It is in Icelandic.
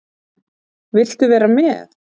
Viltu vera með?